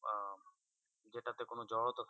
আহ যেটা তে কোনো জড়তা।